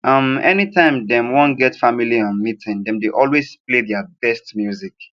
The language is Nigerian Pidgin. um any time dem wan get family um meeting dem dey always play their best music